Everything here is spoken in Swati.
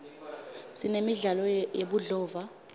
sinemidlalo yebudlova